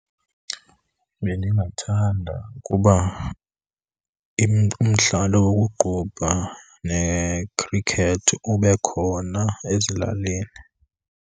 Bendingathanda ukuba umdlalo wokuqubha nekhrikethi ube khona ezilalini.